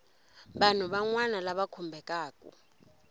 vanhu van wana lava khumbekaku